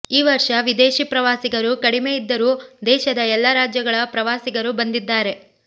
ಈ ವರ್ಷ ವಿದೇಶಿ ಪ್ರವಾಸಿಗರು ಕಡಿಮೆ ಇದ್ದರೂ ದೇಶದ ಎಲ್ಲ ರಾಜ್ಯಗಳ ಪ್ರವಾಸಿಗರು ಬಂದಿದ್ದಾರೆ